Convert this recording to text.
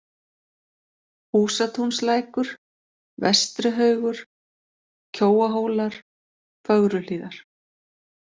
Húsatúnslækur, Vestrihaugur, Kjóahólar, Fögruhlíðar